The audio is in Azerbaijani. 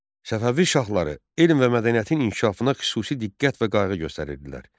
Səfəvi şahları elm və mədəniyyətin inkişafına xüsusi diqqət və qayğı göstərirdilər.